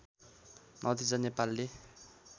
नजिता नेपालले